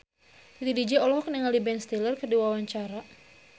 Titi DJ olohok ningali Ben Stiller keur diwawancara